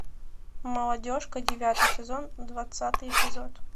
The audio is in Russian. молодежка девятый сезон двадцатый эпизод